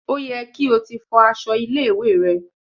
Ó yẹ kí o ti fọ aṣọ ilé-ìwé rẹ?